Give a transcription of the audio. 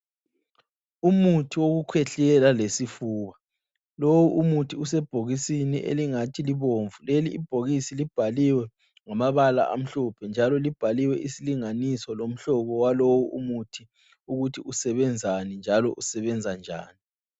Umuthi wokukhwehlela lesifuba, lowo umuthi usebhokisini engathi libomvu. Leli ibhokisi libhaliwe ngamabala amhlophe njalo libhaliwe isilinganiso lomhlobo walowu umuthi ukuthi usebenzani njalo usebenzanjani.